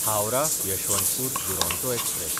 हावराह–यशवंतपूर Duronto express